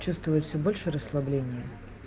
чувствую всё больше расслабление